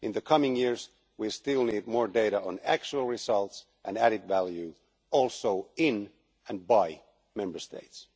In the coming years we still need more data on actual results and added value, also in and by Member States.